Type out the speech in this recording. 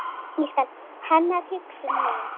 Hennar hugsun mín.